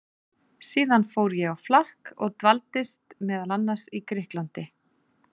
Síðan fór ég á flakk og dvaldist meðal annars í Grikklandi.